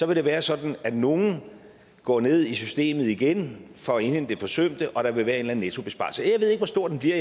vil det være sådan at nogle går ned i systemet igen for at indhente det forsømte og at der vil være en nettobesparelse jeg ved ikke hvor stor den bliver